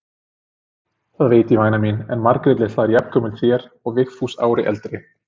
Það veit ég væna mín, en Margrét litla er jafngömul þér og Vigfús ári eldri.